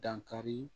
Dankari